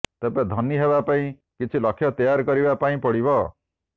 ତେବେ ଧନୀ ହେବା ପାଇଁ କିଛି ଲକ୍ଷ୍ୟ ତେୟାର କରିବା ପାଇଁ ପଡିବ